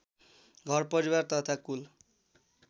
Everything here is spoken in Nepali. घरपरिवार तथा कुल